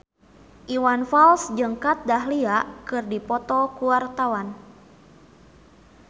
Iwan Fals jeung Kat Dahlia keur dipoto ku wartawan